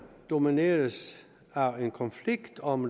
domineres af en konflikt om